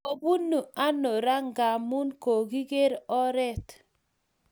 Kepunu ano raa Ngamun kakiker oret